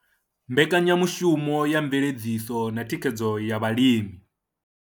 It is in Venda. Mbekanya mushumo ya Mveledziso na Thikhedzo ya Vhalimi.